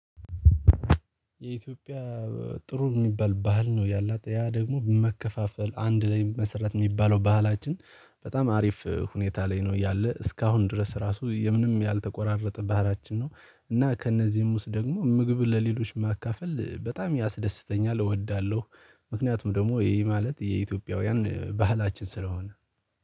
የኢትዮጵያ ጥሩ እሚባል ባህል ነው ያላት ያ ደግሞ መከፋፈል አንድ ላይ መሰረት የሚባለው ባህላችን በጣም አሪፍ ሁኔታ ላይ ነው ያለው እስካሁን ድረስ ራሱ የምንም ያልተቆራረጠ ባህላችን ነው። እና ከእነዚህም ውስጥ ደግሞ ምግብ ለሌሎች ማካፈል በጣም ያስደስተኛል እወዳለሁ ምክንያቱም ደግሞ ይሄ ማለት የኢትዮጵያውያን ባህላችን ስለሆነ።